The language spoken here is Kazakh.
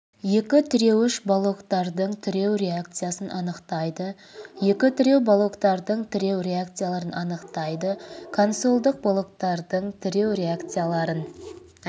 екі тіреуіш балоктардың тіреу реакциясын анықтайды екі тіреу балоктардың тіреу реакцияларын анықтайды консольдық балоктардың тіреу реакцияларын